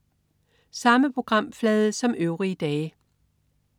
Samme programflade som øvrige dage